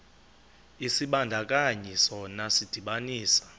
isibandakanyi sona sidibanisa